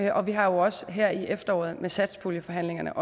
og vi har også her i efteråret under satspuljeforhandlingerne